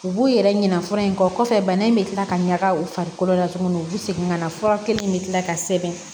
U b'u yɛrɛ ɲina fura in kɔ kɔfɛ bana in bɛ tila ka ɲaga u farikolo la tuguni u bɛ segin ka na fura kelen in bɛ kila ka sɛbɛn